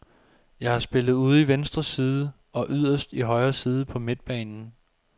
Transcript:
Jeg har spillet ude i venstre side og yderst i højre side på midtbanen.